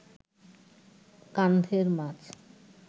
কান্ধের মাছ